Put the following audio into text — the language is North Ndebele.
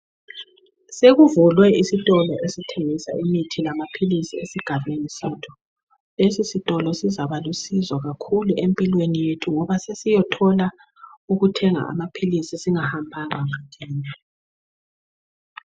Sekuvulwe isitolo esithengisa imithi lamapills esigabeni sethu isitolo sizalusizo kakhulu esigabeni sethu ngoba siyothola ukuthenga amapills singahamba banga elide